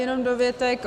Jenom dovětek.